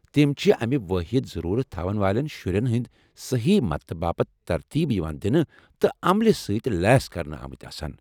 تِم چھِ امہِ واحد ضرورت تھاون والین شُرین ہندِ سہی مدتہٕ باپت ترتیب یوان دِنہٕ تہٕ عملہِ سۭتۍ لیس كرنہٕ آمٕتۍ آسان ۔